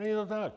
Není to tak.